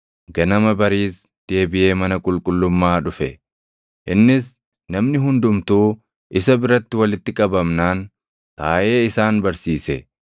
Ganama bariis deebiʼee mana qulqullummaa dhufe; innis namni hundumtuu isa biratti walitti qabamnaan taaʼee isaan barsiise.